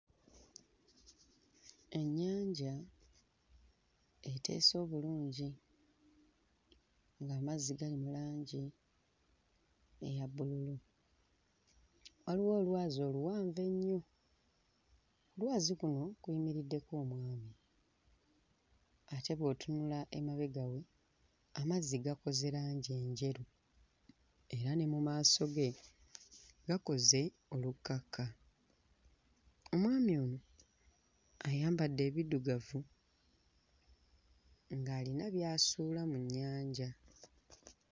Ennyanja eteese obulungi ng'amazzi gali mu langi eya bbululu, waliwo olwazi oluwanvu ennyo, lwazi kuno kuyimiriddeko omwami ate bw'otunula emabega we amazzi gakoze langi enjeru era ne mu maaso ge gakoze olukkaka, omwami ono ayambadde ebiddugavu ng'alina by'asuula mu nnyanja.